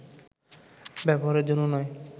ব্যবহারের জন্য নয়